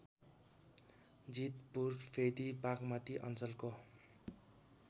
जितपुरफेदी बागमती अञ्चलको